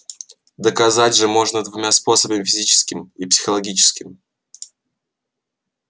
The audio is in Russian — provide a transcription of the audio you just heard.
доказать же можно двумя способами физическим и психологическим